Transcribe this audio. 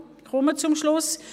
Ich komme zum Schluss.